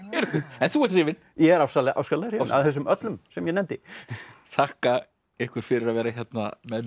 en þú ert hrifinn ég er ofsalega hrifinn af þessum öllum sem ég nefndi þakka ykkur fyrir að vera hérna með mér